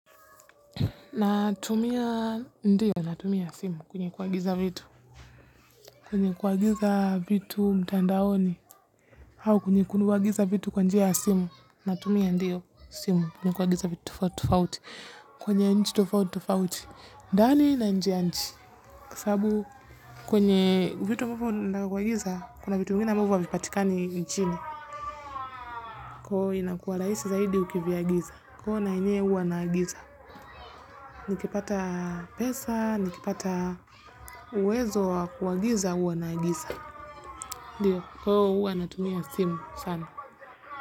Na tumia ndiyo, na tumia simu kwenye kuagiza vitu, kwenye kuagiza vitu mtandaoni, hau kwenye kuagiza vitu kwa njia ya simu, na tumia ndiyo simu kunye kuagiza vitu tufauti, kwenye nchi tufauti tufauti. Dani na nje ya nchi, sababu kwenye vitu mwufu ndakwa kuagiza, kuna vitu vingine ambavo havipatika ni nchini, kwa inakua raisi zaidi ukivyaagiza, kwa na enye uwa naagiza, nikipata pesa, nikipata uwezo wa kuwagiza uwa naagiza. Ndiyo, kwa huo uwa natumia simu sana.